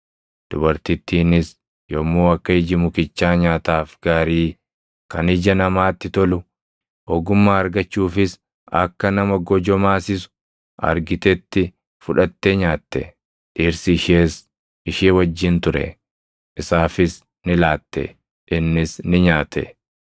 Dubartittiinis yommuu akka iji mukichaa nyaataaf gaarii, kan ija namaatti tolu, ogummaa argachuufis akka nama gojomaasisu argitetti fudhattee nyaatte. Dhirsi ishees ishee wajjin ture; isaafis ni laatte; innis ni nyaate.